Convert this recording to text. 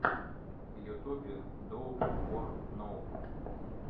в ютубе доуп ор ноуп